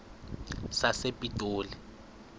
sasepitoli